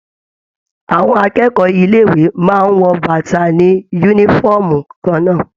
Àwọn akẹ́kọ̀ọ́ ilé ìwé máa n wọ bàtààni yúnífọ̀ọ́mù kànnà.